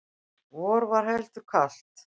vor var heldur kalt